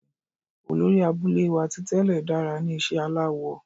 Olori abule wa ti tẹlẹ dara ni iṣẹ alawọ